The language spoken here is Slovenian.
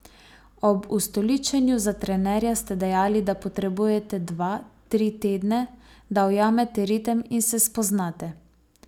Ob ustoličenju za trenerja ste dejali, da potrebujete dva, tri tedne, da ujamete ritem in se spoznate.